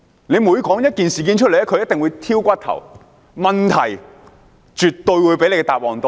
政府每解釋一件事，反對派一定會挑骨頭，問題絕對會比答案多。